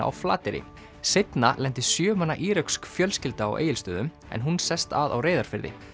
á Flateyri seinna lenti sjö manna íröksk fjölskylda á Egilsstöðum en hún sest að á Reyðarfirði